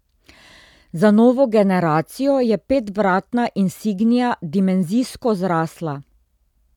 Z novo generacijo je petvratna insignia dimenzijsko zrasla.